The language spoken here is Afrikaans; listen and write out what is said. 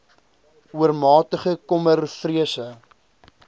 oormatige kommer vrese